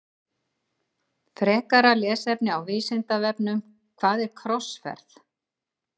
Frekara lesefni á Vísindavefnum Hvað er krossferð?